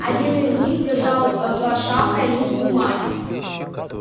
один из них держал ээ под шапкой лист бумаги